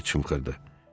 deyə çımxırdı.